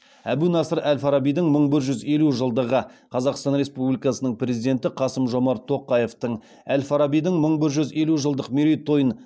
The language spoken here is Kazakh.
әбу насыр әл фарабидің мың бір жүз елу жылдығы қазақстан республикасының президенті қасым жомарт тоқаевтың әл фарабидің мың бір жүз елу жылдық мерейтойын